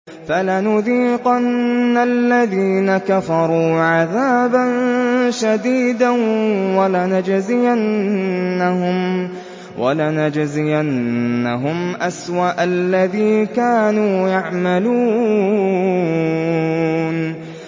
فَلَنُذِيقَنَّ الَّذِينَ كَفَرُوا عَذَابًا شَدِيدًا وَلَنَجْزِيَنَّهُمْ أَسْوَأَ الَّذِي كَانُوا يَعْمَلُونَ